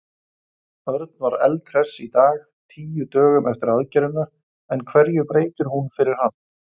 Örn var eldhress í dag, tíu dögum eftir aðgerðina, en hverju breytir hún fyrir hann?